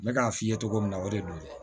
Ne k'a f'i ye cogo min na o de don